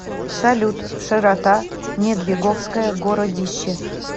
салют широта недвиговское городище